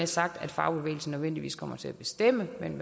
sagt at fagbevægelsen nødvendigvis kommer til at bestemme men